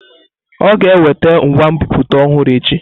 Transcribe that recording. Ọ ga-eweta ngwa nbipute ọhụrụ echi?